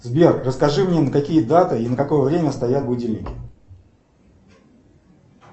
сбер расскажи мне на какие даты и на какое время стоят будильники